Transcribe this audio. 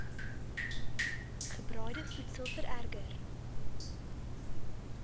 gebraaide voedsel vererger